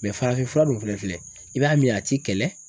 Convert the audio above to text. farafinfura dun fɛnɛ filɛ, i b'a min a t'i kɛlɛ.